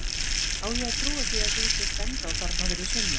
Á ég að trúa því að þú sért ennþá þarna fyrir sunnan?